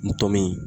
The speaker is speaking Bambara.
Ntom